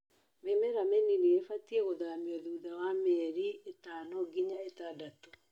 Mĩmera mĩnini ĩbatie gũthamio thutha wa mĩeri ĩtano nginya ĩtandatũ.